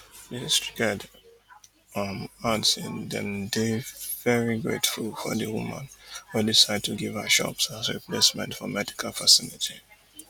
di district head um add say dem dey veri grateful for di woman wey decide give to her shops as replacement of medical facility